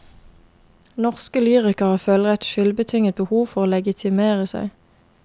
Norske lyrikere føler et skyldbetynget behov for å legitimere seg.